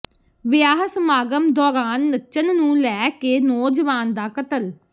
ਵਿਆਹ ਸਮਾਗਮ ਦੌਰਾਨ ਨੱਚਣ ਨੂੰ ਲੈ ਕੇ ਨੌਜਵਾਨ ਦਾ ਕਤਲ